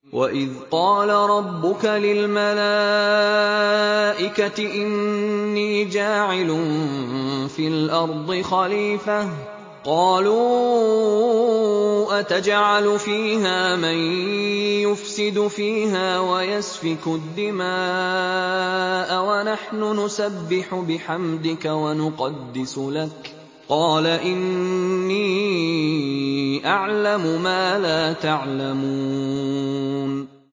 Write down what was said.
وَإِذْ قَالَ رَبُّكَ لِلْمَلَائِكَةِ إِنِّي جَاعِلٌ فِي الْأَرْضِ خَلِيفَةً ۖ قَالُوا أَتَجْعَلُ فِيهَا مَن يُفْسِدُ فِيهَا وَيَسْفِكُ الدِّمَاءَ وَنَحْنُ نُسَبِّحُ بِحَمْدِكَ وَنُقَدِّسُ لَكَ ۖ قَالَ إِنِّي أَعْلَمُ مَا لَا تَعْلَمُونَ